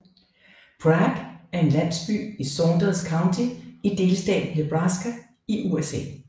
Prague er en landsby i Saunders County i delstaten Nebraska i USA